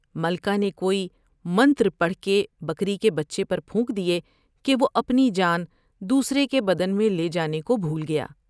ملکہ نے کوئی '' منتر پڑھ کے بیکری کے بچے پر پھونک دیے کہ وہ اپنی جان دوسرے کے بدن میں لے جانے کو بھول گیا ۔